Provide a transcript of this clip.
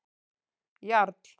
Jarl